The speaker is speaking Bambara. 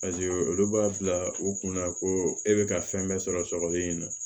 olu b'a bila u kunna ko e bɛ ka fɛn bɛɛ sɔrɔ sɔgɔlen in na